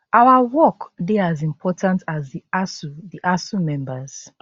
our work dey as important as di asuu di asuu members